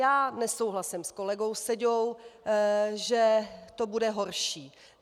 Já nesouhlasím s kolegou Seďou, že to bude horší.